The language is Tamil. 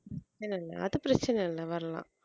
இல்லை இல்லை அது பிரச்சனை இல்லை வரலாம்